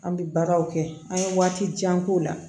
An bɛ baaraw kɛ an ye waati jan k'o la